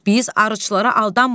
Biz arıçılara aldanırıq?